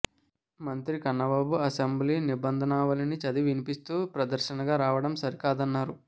మంత్రి కన్నబాబు అసెంబ్లీ నిబంధనావళిని చదివి వినిపిస్తూ ప్రదర్శనగా రావడం సరికాదన్నారు